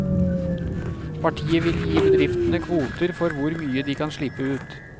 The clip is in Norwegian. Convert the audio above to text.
Partiet vil gi bedriftene kvoter for hvor mye de kan slippe ut.